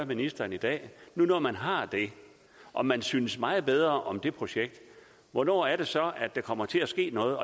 ministeren i dag nu når man har det og man synes meget bedre om det projekt hvornår er det så der kommer til at ske noget